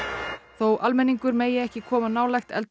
þó almenningur megi ekki koma nálægt